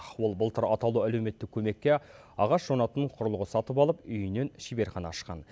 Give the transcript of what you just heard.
ол былтыр атаулы әлеуметтік көмекке ағаш жонатын құрылғы сатып алып үйінен шеберхана ашқан